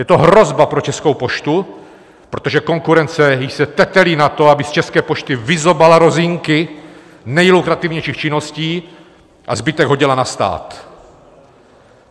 Je to hrozba pro Českou poštu, protože konkurence již se tetelí na to, aby z České pošty vyzobala rozinky nejlukrativnějších činností a zbytek hodila na stát.